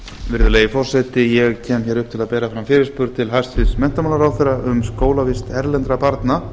virðulegi forseti ég kem upp til að bera fram fyrirspurn til hæstvirts menntamálaráðherra um skólavist erlendra barna